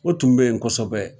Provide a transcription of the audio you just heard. O tun bɛ yen kosɛbɛ